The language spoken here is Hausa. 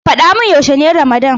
Faɗa mun yaushe ne ramadan.